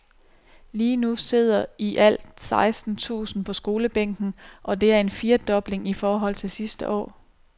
Lige nu sidder i alt seksten tusind på skolebænken, og det er en firedobling i forhold til sidste år.